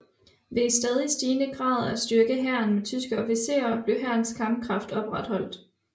Ved i stadig stigende grad at styrke hæren med tyske officerer blev hærens kampkraft opretholdt